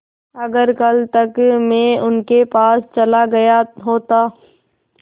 अगर कल तक में उनके पास चला गया होता